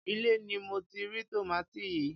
ilé ni mo ti rí tòmátì yìí.